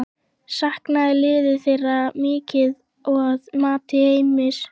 Saknaði liðið þeirra mikið að mati Heimis?